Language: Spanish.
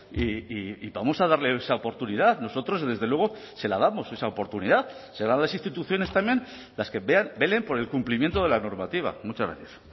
y vamos a darle esa oportunidad nosotros desde luego se la damos esa oportunidad serán las instituciones también las que velen por el cumplimiento de la normativa muchas gracias